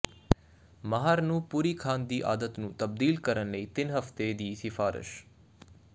ਮਾਹਰ ਨੂੰ ਪੂਰੀ ਖਾਣ ਦੀ ਆਦਤ ਨੂੰ ਤਬਦੀਲ ਕਰਨ ਲਈ ਤਿੰਨ ਹਫ਼ਤੇ ਦੀ ਸਿਫਾਰਸ਼